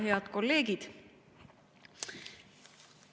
Head kolleegid!